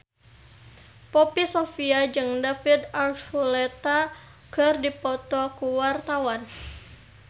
Poppy Sovia jeung David Archuletta keur dipoto ku wartawan